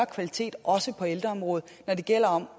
kvalitet også på ældreområdet når det gælder om